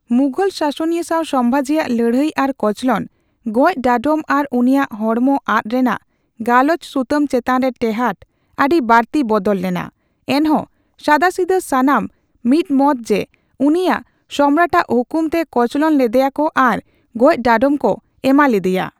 ᱢᱩᱜᱷᱚᱞ ᱥᱟᱥᱚᱱᱤᱭᱟᱹ ᱥᱟᱣ ᱥᱚᱢᱵᱷᱟᱡᱤ ᱟᱜ ᱞᱟᱹᱲᱦᱟᱹᱭ ᱟᱨ ᱠᱚᱪᱞᱚᱱ, ᱜᱚᱡᱽ ᱰᱟᱸᱰᱚᱢ ᱟᱨ ᱩᱱᱤᱭᱟᱜ ᱦᱚᱲᱢᱚ ᱟᱫ ᱨᱮᱱᱟᱜ ᱜᱟᱞᱚᱪ ᱥᱩᱛᱟᱹᱢ ᱪᱮᱛᱟᱱᱨᱮ ᱛᱮᱦᱟᱲ ᱟᱹᱰᱤ ᱵᱟᱲᱛᱤ ᱵᱚᱫᱚᱞ ᱞᱮᱱᱟ, ᱮᱱᱦᱚᱸ ᱥᱟᱫᱟᱥᱤᱫᱟᱹ ᱥᱟᱱᱟᱢ ᱢᱤᱫᱢᱚᱛ ᱡᱮ ᱩᱱᱤᱭᱟᱜ ᱥᱚᱢᱨᱟᱴ ᱟᱜ ᱦᱩᱠᱩᱢᱛᱮ ᱠᱚᱪᱞᱚᱱ ᱞᱮᱫᱮᱭᱟᱠᱚ ᱟᱨ ᱜᱚᱡᱽ ᱰᱟᱸᱰᱚᱢ ᱠᱚ ᱮᱢᱟᱞᱤᱫᱤᱭᱟ᱾